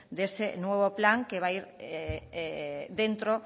de ese nuevo plan que va ir